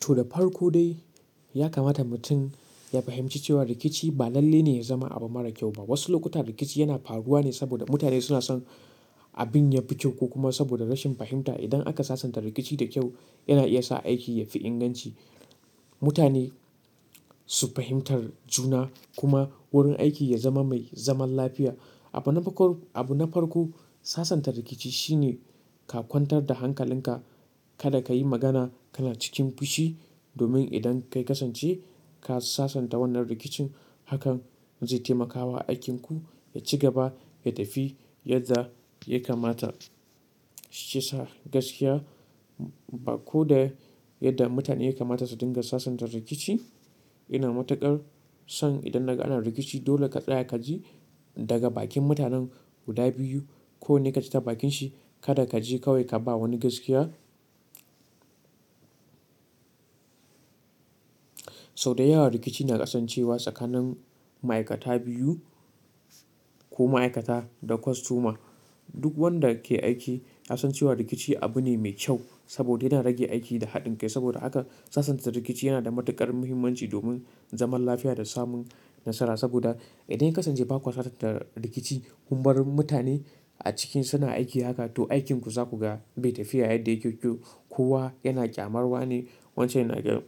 To, da farko dai ya kamata mutum ya fahimci cewa rikici ba lalle ne ya zama abu mara kyau ba. Wasu lokuta rikici yana faruwa ne saboda mutane suna son abin ya fi kyau ko kuma saboda rashin fahimta. Idan aka sasanta rikici da kyau, yana iya sa aiki ya fi inganci, mutane su fahimtar juna kuma wurin aiki ya zama mai zaman lafiya. Abu na farko sasanta rikici shine ka kwantar da hankalinka, kada ka yi magana kana cikin fushi domin idan ka kasance ka sasanta wannan rikicin, hakan zai taimakawa aikin ku ya ci gaba, ya tafi yadda ya kamata shi ya sa gaskiya ko da yadda mutane ya kamata su dinga sasanta rikici. Ina matuƙar son idan naga ana rikici dole ka tsaya ka ji daga bakin mutanen guda biyu ko ne ka ji ta bakinshi, kada ka je kawai ka ba wani gaskiya. Sau da yawa rikici na kasancewa tsakanin ma'aikata biyu ko ma'aikata da kostoma. Duk wanda ke aiki ya san cewa rikici abu ne mai kyau saboda yana rage aiki da haɗin kai. Saboda haka sasanta rikici yana da matuƙar muhimmanci domin zaman lafiya da samun nasara. Saboda idan ya ka kasance ba kuo sasanta rikici, kunbar mutane a cikin suna aiki haka to aikin ku za ku ga bai tafi yadda yake kyau kuwa yana ƙyamarwa ne. Wancan yana ga--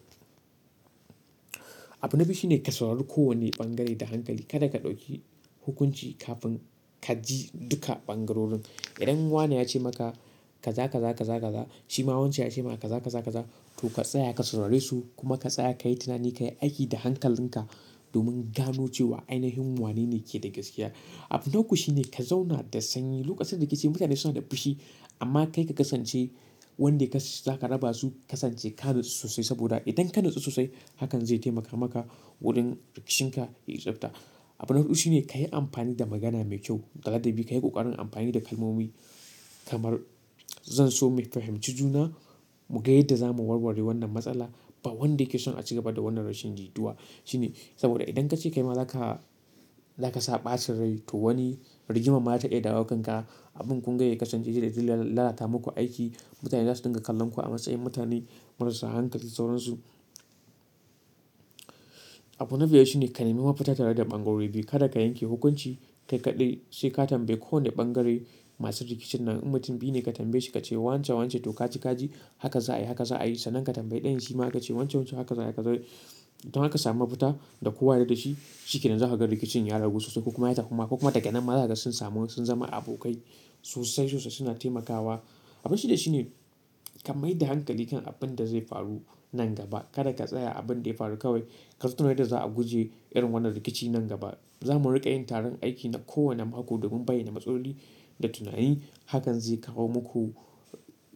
abu na biyu shine ka saurari kowane bangare da hankali. Kada ka ɗauki hukunci kafin ka ji duka bangarorin. Idan wani ya ce maka ka za, ka za, ka za, ka za, shi ma wancan ya ce maka ka za, ka za, ka za, to ka tsaya ka saurare su kuma ka tsaya ka yi tunani ka yi aiki da hankalinka domin gano cewa ainihin wane ne ke da gaskiya. Abu na uku shine ka zauna da sanyi. Lokacin rikici mutane suna da fushi amma kai ka kasance wanda ka, za ka raba su. Kasance ka natsu sosai saboda idan ka natsu sosai hakan zai taimaka maka wajen rikicin ka yai tsafta. Abu na hudu shine ka yi amfani da magana mai kyau, gaba dabii. Ka yi kokarin amfani da kalmomi kamar, "Zan so mu fahimci juna. Mua yadda zamu warware wannan matsala ba wanda yake son a ci gaba da wannan rashin jituwa. Shine saboda idan ka ce kai ma za ka, za ka sa ɓacin rai to wani rigima ma za ta iya dawakan ka. Abin kunga ya kasance shine zai lalata muku aiki. Mutane za su dinga kallon ku a matsayin mutane marasa hankali sauran su. Abu na biyar shine ka nemi mafita tare da bangare biyu. Kada ka yanke hukunci kai kaɗai, sai ka tambayi kowane bangare masu rikicin nan. In mutum biyu ne ka tambaye shi ka ce, "Wancan, wancan to ka ci ka ji. Haka za a yi, haka za a yi." Sannan ka tambayi ɗayan shi ma ka ce, "Wancan, wancan haka za a yi." Don haka ka sami mafita da kowa yana da shi. Shi ke nan za ka ga rikicin ya ragu sosai kuma ya tafi kuma daga nan ma zasa sun samu sun zama abokai sosai sosai suna taimakawa. Abu shida shine ka mai da hankali kan abin da zai faru nan gaba. Kada ka tsaya abin da ya faru kawai. Ka zaton yadda za a guje irin wannan rikici nan gaba. Za mu riƙa yin taron aiki na kowane mako domin bayyana matsaloli da tunani. Hakan zai kawo muku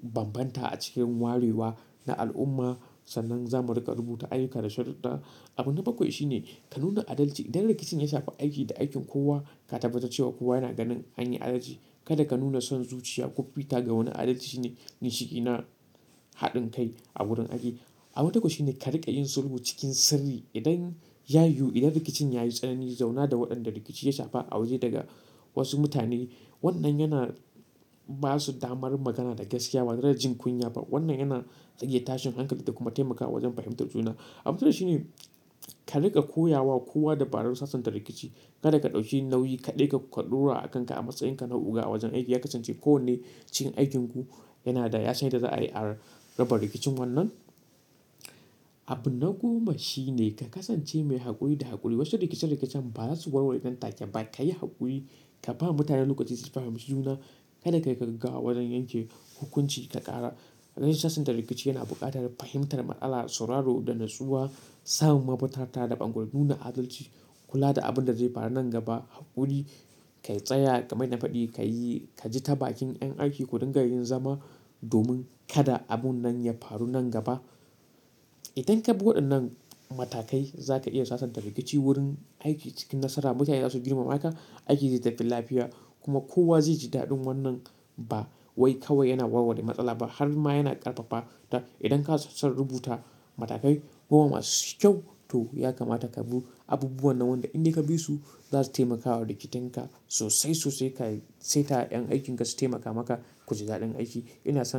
banbanta a cikin wariwa na al'umma. Sannan za mu riƙa rubuta ayyuka da sharuɗɗa. Abu na bakwai shine ka nuna adalci. Idan rikicin ya shafa aiki da aikin kowa, ka tabbatar cewa kowa yana ganin an yi adalci. Kada ka nuna son zuciya ko fita ga wani adalci shine ginshikina haɗin kai a wurin aiki. A buna uku shine karinga yin sulhu cikin sirri idan yayiwu idan rikicin yayi tsanani zauuna da wadanda rikici ya shafe a waje da wadansu mutane wannan yana basu damar magana da gaskiya batareda jin kunya ba wannan yana rage tashin hankali da kuma taimakawa wajen fahimtar juna. Abu na takwas shine ka riƙa koya wa kowa dabarar sasanta rikici. Kada ka ɗauki nauyi kaɗai ka ɗora akanka a matsayinka na oga a wajen aiki. Ya kasance kowane cikin ajin ku yana da ya san yadda za a yi raba rikicin wannan. Abu na goma shine ka kasance mai haƙuri da haƙuri. Wasu rikice-rikicen ba za su warware nan take ba. Ka yi haƙuri, ka ba mutane lokaci su fahimci juna. Kada ka yi ka gaggawa wajen yanke hukunci ka ƙara. Zan sasanta rikici yana buƙatar fahimtar matsala, sauraro da natsuwa, samun mafitar tare da ɓango, nuna adalci, kula da abin da zai faru nan gaba haƙuri, ka tsaya ka mai nafaɗi, ka yi, ka ji ta bakin yan aiki kudun ga irin zama domin kada abun nan ya faru nan gaba. Idan ka bi waɗannan matakai za ka iya sasanta rikici wurin aiki cikin nasara. Mutane za su girmama ka, aiki zai tafi lafiya kuma kowa zai ji daɗin wannan. Ba wai kawai yana warware matsala ba har ma yana ƙarfafa ta. Idan ka sassa rubuta matakai goma masu kyau to ya kamata ka bi abubuwan nan wanda idan ka bi su za su taimakawa rikiten ka sosai sosai. Ka saita 'yan aikin ka su taimaka maka ku ji daɗin aiki. Ina sa.